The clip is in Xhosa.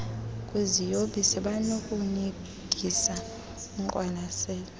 kwiziyobisi banokunika ingqwalasela